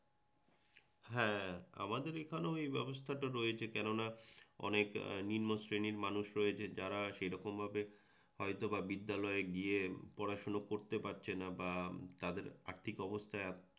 হ্যাঁ, আমাদের এখানেও এই ব্যবস্থাটা রয়েছে কেননা অনেক নিম্ন শ্রেণীর মানুষ রয়েছেন যারা সেরকম ভাবে হয়তোবা বিদ্যালয় গিয়ে পড়াশুনো করতে পারছেনা বা তাদের আর্থিক অবস্থা